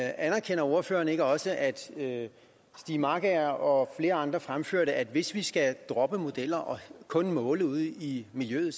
anerkender ordføreren ikke også at stiig markager og flere andre fremførte at hvis vi skal droppe modellerne og kun måle ude i miljøet